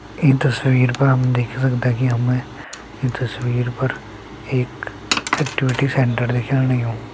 ईं तस्वीर पर हम देख ही सकदा की हमें ईं तस्वीर पर एक एक्टिविटी सेण्टर दिखेण लग्युं।